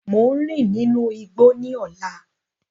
Mo n rin ninu igbó ni ọlá.